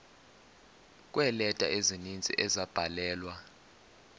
kweeleta ezininzi ezabhalelwa